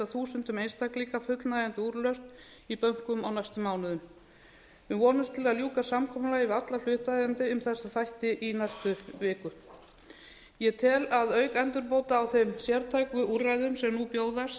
þúsundum einstaklinga fullnægjandi úrlausn í bönkum á næstu mánuðum við vonumst til að ljúka samkomulagi við alla hlutaðeigandi um þessa þætti í næstu viku ég tel að auk endurbóta á þeim sértæku úrræðum sem nú bjóðast